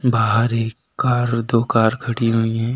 बाहर एक कार दो कार खड़ी हुई हैं।